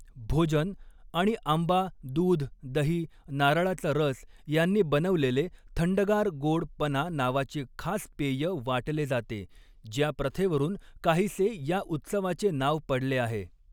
भोजन आणि आंबा दूध दही नारळाचा रस यांनी बनवलेले थंडगार गोड पना नावाचे खास पेय वाटले जाते, ज्या प्रथेवरून काहीसे या उत्सवाचे नाव पडले आहे.